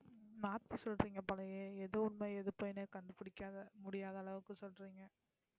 மாத்தி சொல்றீங்க போலயே எது உண்மை எது பொய்ன்னே கண்டுபிடிக்காத முடியாத அளவுக்கு சொல்றீங்க